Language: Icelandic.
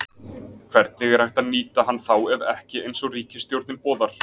Hvernig er hægt að nýta hann þá ef ekki eins og ríkisstjórnin boðar?